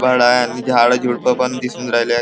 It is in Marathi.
अन झाड झुडपं पण दिसून राहिले आहे.